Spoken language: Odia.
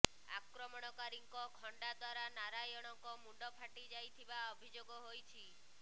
ଆକ୍ରମଣକାରୀଙ୍କ ଖଣ୍ଡା ଦ୍ୱାରା ନାରାୟଣଙ୍କ ମୁଣ୍ଡ ଫାଟି ଯାଇଥିବା ଅଭିଯୋଗ ହୋଇଛି